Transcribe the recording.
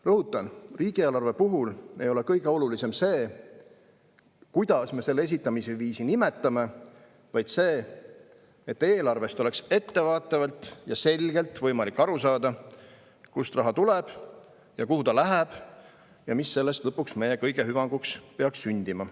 Rõhutan, et riigieelarve puhul ei ole kõige olulisem see, kuidas me selle esitamise viisi nimetame, vaid see, et eelarvest oleks ettevaatavalt ja selgelt võimalik aru saada, kust raha tuleb ja kuhu ta läheb ning mis sellest lõpuks meie kõigi hüvanguks peaks sündima.